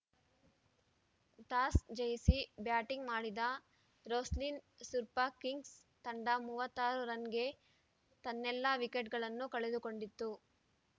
toss ಜಯಿಸಿ batting ಮಾಡಿದ Roslin super kings ತಂಡ ತೊಂಬತ್ತ್ ಆರು ರನ್‌ಗೆ ತನ್ನೆಲ್ಲಾ ವಿಕೆಟ್‌ಗಳನ್ನು ಕಳೆದುಕೊಂಡಿತ್ತು